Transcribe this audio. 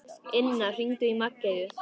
Inna, hringdu í Maggeyju.